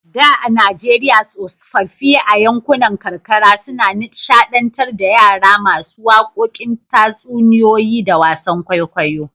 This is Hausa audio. Da a Najeriya tsofaffi a yankunan karkara sukan nishadantar da yara masu wakokin tatsuniyoyi da wasan kwaikwayo.